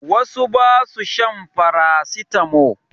Wasu ba su shan farasitamo.